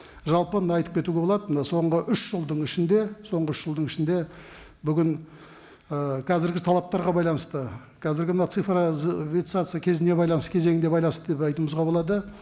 жалпы мында айтып кетуге болады мына соңғы үш жылдың ішінде соңғы үш жылдың ішінде бүгін ы қазіргі талаптарға байланысты қазіргі мына кезіне байланысты кезеңге байланысты деп айтуымызға болады